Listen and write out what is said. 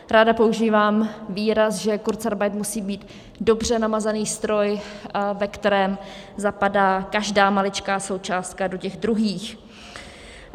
Ráda používám výraz, že kurzarbeit musí být dobře namazaný stroj, ve kterém zapadá každá maličká součástka do těch druhých.